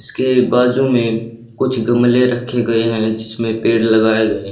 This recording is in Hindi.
उसके बाजू में कुछ गमले रखे गए हैं जिसमें पेड़ लगाए गए।